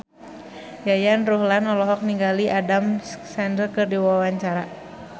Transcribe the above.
Yayan Ruhlan olohok ningali Adam Sandler keur diwawancara